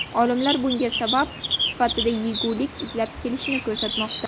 Olimlar bunga sabab sifatida yegulik izlab kelishni ko‘rsatmoqda.